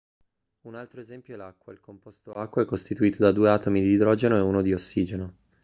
un altro esempio è l'acqua il composto acqua è costituito da due atomi di idrogeno e uno di ossigeno